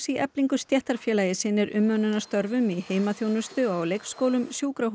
í Eflingu stéttarfélagi sinnir umönnunarstörfum í heimaþjónustu á leikskólum sjúkrahúsum